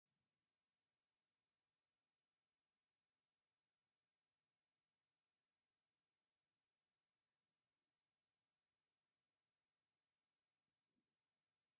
መብዛሕቲኡ ግዜ ደቂ ኣንስትዮ ካብ እቶም ንመመላክዒ ኢለን ካብ ዝጥቀማሎም ሓደ ዝኮነ እዩ። ቁኖ ድማ ይብሃል ።እዙይ ቁኖ እንታይ ይብሃል ሽሙ?